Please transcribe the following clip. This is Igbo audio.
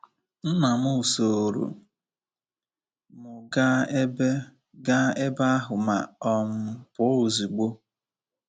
Nna m sooro m gaa ebe gaa ebe ahụ ma um pụọ ozugbo.